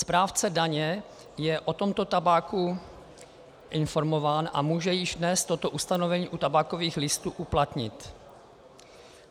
Správce daně je o tomto tabáku informován a může již dnes toto ustanovení u tabákových listů uplatnit.